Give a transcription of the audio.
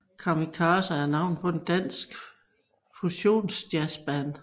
Kamikaze er navnet på et dansk fusions jazzband